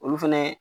Olu fɛnɛ